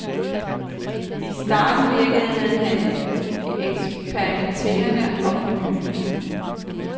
I starten virkede han eksperimenterende og fornyende.